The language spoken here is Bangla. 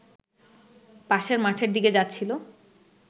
পাশের মাঠের দিকে যাচ্ছিল